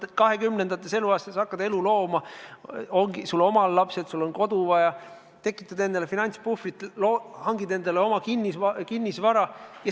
Kahekümnendates eluaastates hakkad elu looma, sul on omal lapsed, sul on kodu vaja, tekitad endale finantspuhvrit, hangid kinnisvara.